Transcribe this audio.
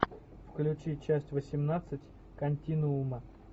включи часть восемнадцать континуума